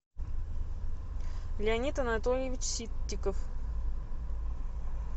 леонид анатольевич ситтиков